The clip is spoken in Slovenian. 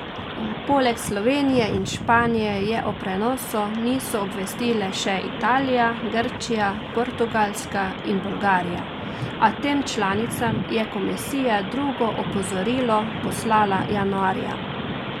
Poleg Slovenije in Španije je o prenosu niso obvestile še Italija, Grčija, Portugalska in Bolgarija, a tem članicam je komisija drugo opozorilo poslala januarja.